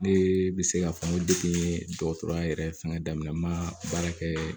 Ne bɛ se k'a fɔ n ko dɔgɔtɔrɔya yɛrɛ fɛngɛ daminɛ na n ma baara kɛ